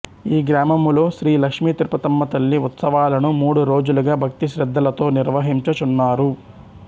ఈ గ్రామములో శ్రీ లక్ష్మీ తిరుపతమ్మ తల్లి ఉత్సవాలను మూడు రోజులుగా భక్తిశ్రద్ధలతో నిర్వహించుచున్నారు